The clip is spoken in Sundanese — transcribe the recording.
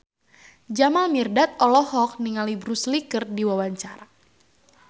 Jamal Mirdad olohok ningali Bruce Lee keur diwawancara